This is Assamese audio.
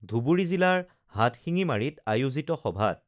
ধুবুৰী জিলাৰ হাটশিঙিমাৰীত আয়োজিত সভাত